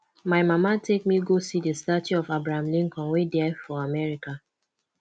my mama take me go see the statue of abraham lincoln wey dey for america